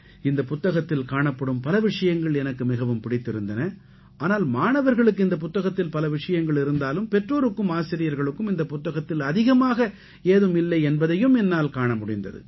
இந்தப் புத்தகத்தில் காணப்படும் பல விஷயங்கள் எனக்கு மிகவும் பிடித்திருந்தன ஆனால் மாணவர்களுக்கு இந்தப் புத்தகத்தில் பல விஷயங்கள் இருந்தாலும் பெற்றோருக்கும் ஆசிரியர்களுக்கும் இந்தப் புத்தகத்தில் அதிகமாக ஏதும் இல்லை என்பதையும் என்னால் காண முடிந்தது